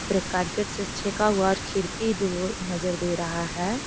पूरा कारकेट से छेका हुआ है और खिड़की दु गो नजर दे रहा है।